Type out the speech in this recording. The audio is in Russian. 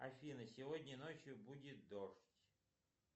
афина сегодня ночью будет дождь